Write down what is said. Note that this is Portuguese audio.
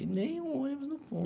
E nem um ônibus no ponto.